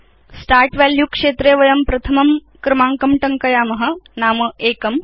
start value क्षेत्रे वयं प्रथमं क्रमाङ्कं टङ्कयाम नाम एकम्